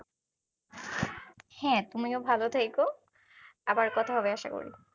হ্যাঁ তুমিও ভালো থেকো, আবার কথা হবে আশা করি.